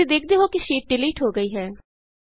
ਤੁਸੀਂ ਦੇਖਦੇ ਹੋ ਕਿ ਸ਼ੀਟ ਡਿਲੀਟ ਹੋ ਗਈ ਹੈ